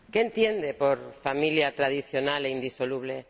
¿Qué entiende por familia tradicional e indisoluble?